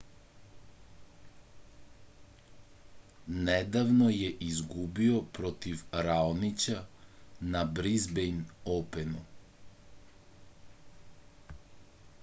nedavno je izgubio protiv raonića na brizbejn openu